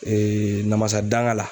namasa danka la.